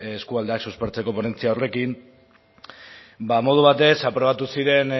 eskualdeak suspertzeko ponentzia horrekin ba modu batez aprobatu ziren